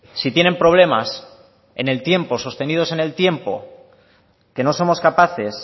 si tienen problemas en el tiempo sostenidos en el tiempo que no somos capaces